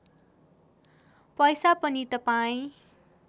पैसा पनि तपाईँ